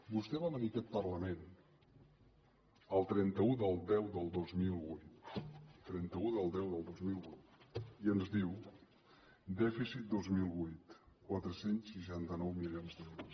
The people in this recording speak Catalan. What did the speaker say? vostè va venir a aquest parlament el trenta un del x del dos mil vuit trenta un del x del dos mil vuit i ens diu dèficit dos mil vuit quatre cents i seixanta nou milions d’euros